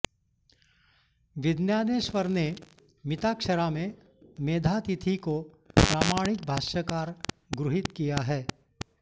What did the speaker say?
विज्ञानेश्वर ने मिताक्षरा में मेधातिथि को प्रामाणिक भाष्यकार गृहीत किया है